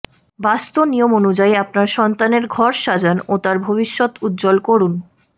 বাস্তু নিয়ম অনুযায়ী আপনার সন্তানের ঘর সাজান ও তাঁর ভবিষ্যৎ উজ্জ্বল করুন